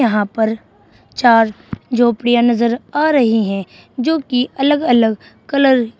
यहां पर चार झोपड़ियां नजर आ रही हैं जो की अलग अलग कलर --